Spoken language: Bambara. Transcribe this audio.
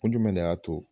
Kun jumɛn de y'a to